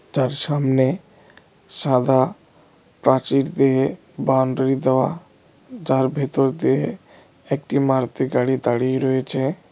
যার সামনে সাদা প্রাচীর দিয়ে বাউন্ডারি দেওয়া যার ভেতর দিয়ে একটি মারুতি গাড়ি দাঁড়িয়ে রয়েছে।